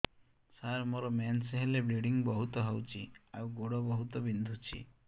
ସାର ମୋର ମେନ୍ସେସ ହେଲେ ବ୍ଲିଡ଼ିଙ୍ଗ ବହୁତ ହଉଚି ଆଉ ଗୋଡ ବହୁତ ବିନ୍ଧୁଚି